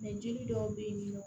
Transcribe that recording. jeli dɔw be yen ni nɔ